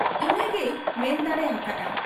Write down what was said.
ᱤᱱᱟᱹᱜ ᱜᱮᱭ ᱢᱮᱱ ᱫᱟᱲᱮ ᱟᱠᱟ ᱦᱟᱫ ᱟ ᱾